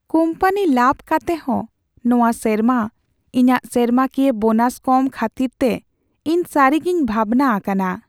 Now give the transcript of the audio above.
Company ᱞᱟᱵᱷ ᱠᱟᱛᱮᱦᱚᱸ ᱱᱚᱶᱟ ᱥᱮᱨᱢᱟ ᱤᱧᱟᱹᱜ ᱥᱮᱨᱢᱟᱠᱤᱭᱟᱹ ᱵᱳᱱᱟᱥ ᱠᱚᱢ ᱠᱷᱟᱹᱛᱤᱨᱛᱮ ᱤᱧ ᱥᱟᱹᱨᱤᱜᱤᱧ ᱵᱷᱟᱵᱽᱱᱟ ᱟᱠᱟᱱᱟ ᱾